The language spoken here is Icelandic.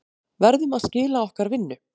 Verðum að skila okkar vinnu